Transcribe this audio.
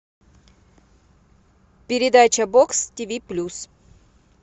передача бокс тиви плюс